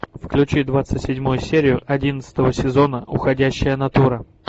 включи двадцать седьмую серию одиннадцатого сезона уходящая натура